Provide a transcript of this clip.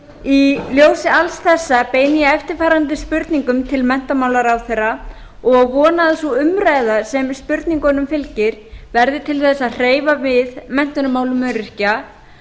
í ljósi alls þessa beini ég eftirfarandi spurningum til menntamálaráðherra og vona að sú umræða sem spurningunum fylgir verði til þess að hreyfa við menntunarmálum öryrkja